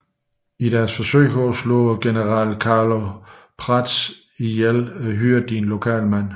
I deres forsøg på at dræbe general Carlo Prats hyrede de en lokal mand